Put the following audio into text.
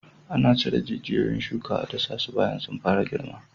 Ana cire jijiyon shuka a dasasu bayan sun fara girma.